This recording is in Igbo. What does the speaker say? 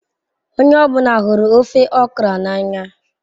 Onye ọ bụla hụrụ ofe okra n'anya.